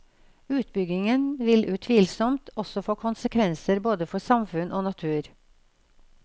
Utbyggingen vil utvilsomt også få konsekvenser både for samfunn og natur.